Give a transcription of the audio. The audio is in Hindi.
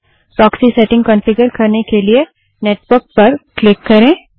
प्रोक्सी सेटिंग कन्फिगर करने के लिए नेटवर्क पर क्लिक करें